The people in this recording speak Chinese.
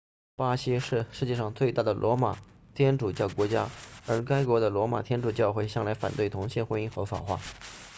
巴西是世界上最大的罗马天主教国家而该国的罗马天主教会向来反对同性婚姻合法化